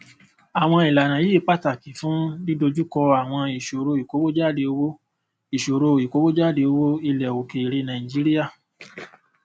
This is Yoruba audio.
àwọn ìlànà yìí pàtàkì fún dídojúkọ àwọn ìṣòro ìkòwòjáde owó ìṣòro ìkòwòjáde owó ilẹ òkèèrè nàìjíríà